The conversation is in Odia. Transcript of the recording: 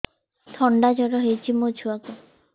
ଥଣ୍ଡା ଜର ହେଇଚି ମୋ ଛୁଆକୁ